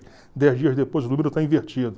dez dias depois o número está invertido.